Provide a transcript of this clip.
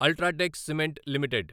UltraTech cement limited